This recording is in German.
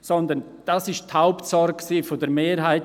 Vielmehr waren sie die Hauptsorge der Mehrheit.